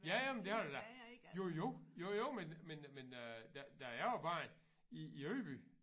Ja ja men det har der da. Jo jo jo jo men men men øh da da jeg var barn i i Ydby